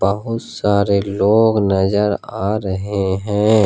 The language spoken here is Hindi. बहुत सारे लोग नजर आ रहे हैं।